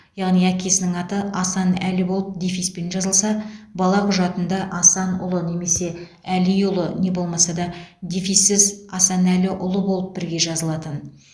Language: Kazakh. яғни әкесінің аты асан әлі болып дефиспен жазылса бала құжатында асанұлы немесе әлиұлы не болмаса да дефиссіз асанәліұлы болып бірге жазылатын